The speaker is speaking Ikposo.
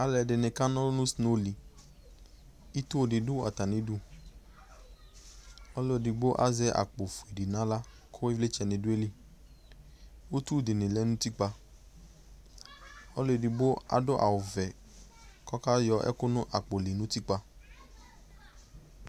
alò ɛdini kana ɔlu no snow li ito di do atami du ɔlò edigbo azɛ akpo fue di n'ala kò ivlitsɛ ni do ayili utu di ni lɛ n'utikpa ɔlò edigbo adu awu vɛ k'ɔka yɔ ɛkò no akpo li n'utikpa